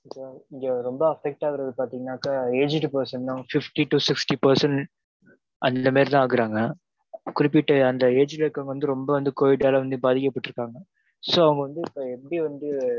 இங்க ரெம்ப affect ஆகுறது பாத்திங்கன்னாக்க aged person தான் fifty to sixty percent அந்தமாதிரி தான் ஆகுறாங்க. குறிப்பிட்ட அந்த age ல இருக்குறவுங்க covid ல வந்து பாதிக்கப்பட்டு இருகாங்க. so அவங்க வந்து எப்படி வந்து